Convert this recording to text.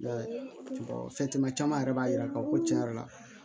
I y'a ye fɛn caman yɛrɛ b'a yira k'a fɔ ko tiɲɛ yɛrɛ la